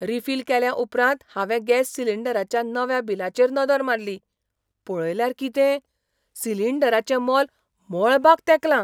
Refill केल्या उपरांत हांवें गॅस सिलिंडराच्या नव्या बिलाचेर नदर मारली. पळयल्यार कितें, सिलिंडराचें मोल मळबाक तेंकलां!